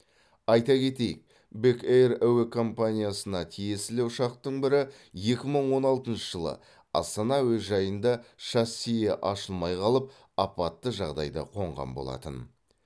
айта кетейік бек эйр әуе компаниясына тиесілі ұшақтың бірі екі мың он алтыншы жылы астана әуежайында шассиі ашылмай қалып апатты жағдайда қонған болатын